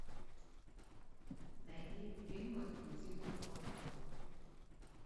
найди фильмы никиты михалкова